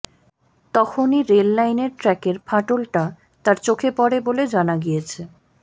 তখনই রেল লাইনের ট্র্যাকের ফাটলটা তাঁর চোখে পড়ে বলে জানা গিয়েছে